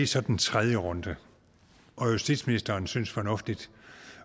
så den tredje runde og justitsministeren synes fornuftigt